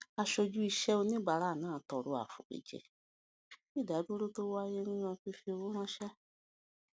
aṣojú iṣẹ oníbàárà náà tọrọ àforíjì fún ìdádúró tí ó wáyé nínú fífi owó ránṣẹ